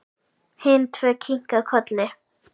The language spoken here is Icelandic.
Hin tvö kinka kolli.